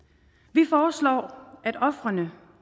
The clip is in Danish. vi foreslår at ofrene